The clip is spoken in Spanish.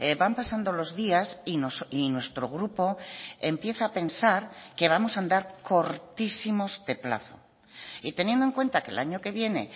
van pasando los días y nuestro grupo empieza a pensar que vamos a andar cortísimos de plazo y teniendo en cuenta que el año que viene